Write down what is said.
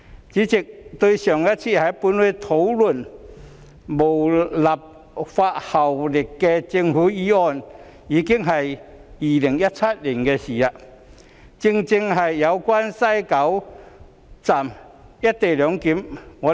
主席，上次本會討論無立法效力的政府議案已是2017年，正正是有關在西九龍站實施"一地兩檢"安排。